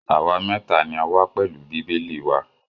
Àwa mẹ́ta ni a wà pẹ̀lú Bíbélì wa.